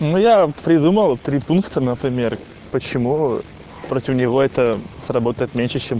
ну я придумал три пункта например почему против него это сработает меньше чем